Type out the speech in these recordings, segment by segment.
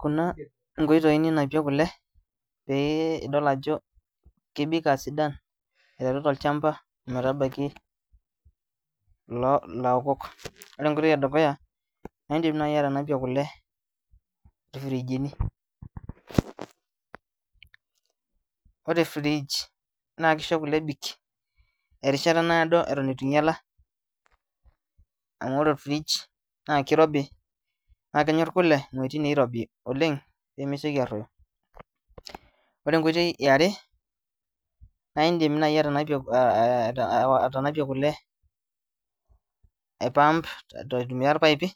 Kuna inkoitoi ninapei kule pee idol ajo kebik aa sidan aiteru tolchamba oo metabaiki ilo ilaokok. Ore e nkoitoi e dukuya, iindim nai atanapie kule irfrijini, ore fridge naake isho kule ebik erishata naado eton itu inyala amu ore orfridge naa kirobi naa kenyor kule amu etii niirobi oleng' nemesioki aaruoyo. Ore enkoitoi e are naa iindim nai atanapie aa aa ae awa atanapie kule aipump aitumia irpaipi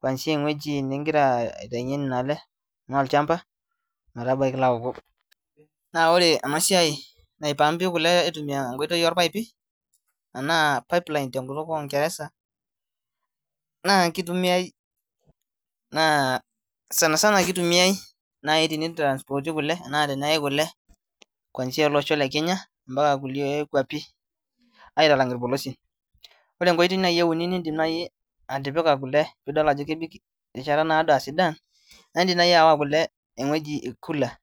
kuanzia ewueji ning'ira aitayunye nena ale, enaa olchmaba metabaiki ilaokok. Naa ore ena siai naipumpi kule aitumia enkoitoi oorpaipi enaa pipeline te nkutuk ornkereza naa kitumiai naa [cs sana sana kitumiai nai tenitransporti kule enaa teneyai kule kuanzia ele osho le Kenya mpaka kulie kuapin aitalang' irpolosien. Ore enkoitoi nai euni niindim nai atipika kule piidol ajo kebik erishata naado aa sidan naa iindim nai aawa kule ewueji cooler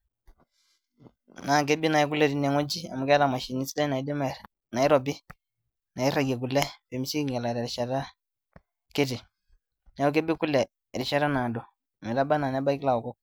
naa kebik nai kule tine wueji amu keeta mashinini sidan naidim nair nairobi nairagie kule pee mesioki ainyala terishata kiti. Neeku kebik kule erishata naado metaba naa nebaki ilaokok